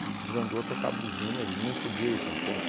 desandou a tocar a buzina, ele não podia ir para frente.